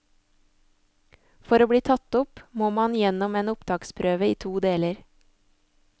For å bli tatt opp, må man gjennom en opptaksprøve i to deler.